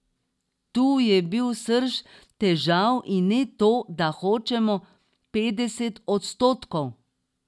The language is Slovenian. Tu je bil srž težav in ne to, da hočemo petdeset odstotkov.